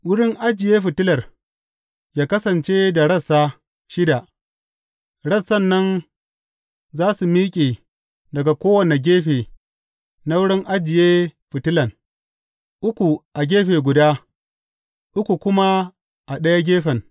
Wurin ajiye fitilar yă kasance da rassa shida, rassan nan za su miƙe daga kowane gefe na wurin ajiye fitilan, uku a gefe guda, uku kuma a ɗaya gefen.